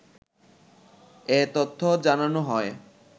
এ তথ্য জানানো হয়।